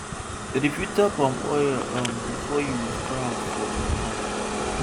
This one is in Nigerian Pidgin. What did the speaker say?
dem dey filter palm oil um before you go store am for jerry cans